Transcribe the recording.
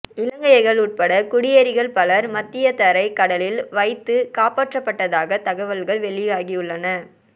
இலங்கையர்கள் உட்பட்ட குடியேறிகள் பலர் மத்தியதரைக் கடலில் வைத்துகாப்பாற்றப்பட்டதாக தகவல்கள் வெளியாகியுள்ளன